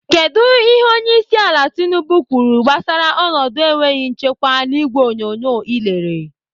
Kedụ ihe onyeisiala Tinubu kwuru gbasara ọnọdụ enweghị nchekwa n'ìgwè onyonyo ị lere?